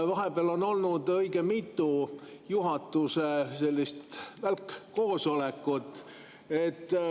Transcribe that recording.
Vahepeal on olnud õige mitu juhatuse välkkoosolekut.